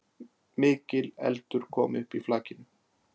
Mikil eldur kom upp í flakinu